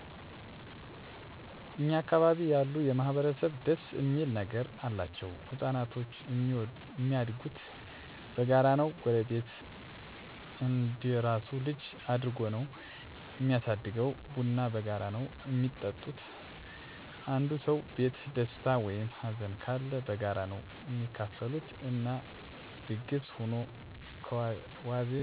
እኛ አካባቢ ያሉ ማህበረሰብ ደስ እሚል ነገር አላቸዉ። ህፃናቶች እሚያድጉት በጋራ ነዉ ጎረቤት እንደራሱ ልጅ አድርጎ ነዉ እሚያሳድገዉ፣ ቡና በጋራ ነዉ እሚጠጡት፣ አንዱ ሰዉ ቤት ደስታ ወይም ሀዘንም ካለ በጋራ ነዉ እሚካፈሉት እና ድግስ ሁኖ ከዋዜማዉ ጀምሮ ስራዉንም አብረዉ በመተጋገዝ ቀለል ብሎን እንድናልፈዉ ያደርጉናል። እንጀራ ቤት ዉስጥ ከሌለ ጎረቤት ይሰጡሀል፣ ካንዱ ቤት ወጥ ካለ ካንዱ እንጀራ እያደረጉ ነዉ እሚበሉ በአጠቃላይ መተሳሰብ እና ልዩ ፍቅር ያለበት ሰፈር ነዉ።